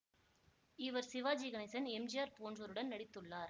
இவர் Sivaji Ganesan M G R போன்றோருடன் நடித்துள்ளார்